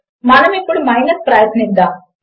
మనము ఇప్పుడు మైనస్ ప్రయత్నిద్దాము